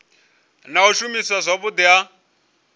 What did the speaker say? na u shumiswa zwavhudi ha